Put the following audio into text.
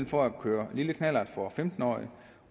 for at køre lille knallert for femten årige